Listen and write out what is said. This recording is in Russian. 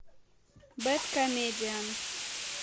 бэд комедиан